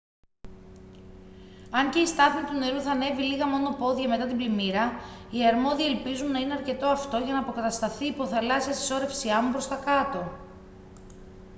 αν και η στάθμη του νερού θα ανέβει λίγα μόνο πόδια μετά την πλημμύρα οι αρμόδιοι ελπίζουν να είναι αρκετό αυτό για να αποκατασταθεί η υποθαλάσσια συσσώρευση άμμου προς τα κάτω